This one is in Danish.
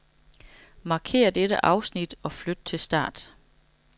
Markér dette afsnit og flyt til start.